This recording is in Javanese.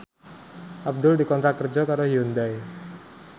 Abdul dikontrak kerja karo Hyundai